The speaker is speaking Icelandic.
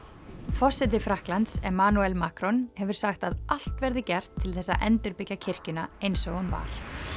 forseti Frakklands Macron hefur sagt að allt verði gert til þess að endurbyggja kirkjuna eins og hún var